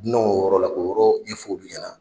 Dunanw yɔrɔ la k'o yɔrɔ ɲɛfo olu ɲɛna.